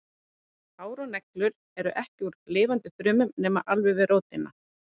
Hár og neglur eru því ekki úr lifandi frumum nema alveg við rótina.